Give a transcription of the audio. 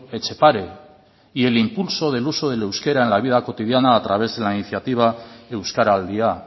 etxepare y el impulso del uso del euskara en la vida cotidiana a través de la iniciativa euskaraldia